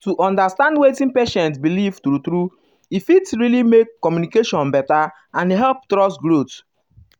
to understand wetin patient believe true true e fit really make communication better and help trust grow.